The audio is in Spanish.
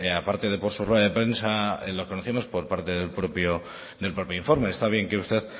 aparte de por su rueda de prensa lo conocemos por parte del propio informe está bien que usted